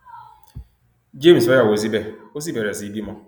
james fẹyàwó síbẹ ó sì bẹrẹ sí í bímọ